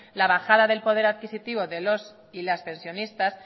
la bajada del poder adquisitivo de los y las pensionistas